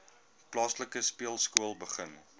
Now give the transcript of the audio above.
plaaslike speelskool begin